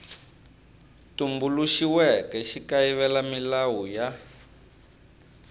tumbuluxiweke xi kayivela milawu ya